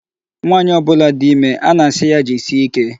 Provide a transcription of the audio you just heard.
Nwaanyị ọbụla dị ime, a na-asị ya jisie ike.